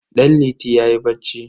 Danliti yayi bacci.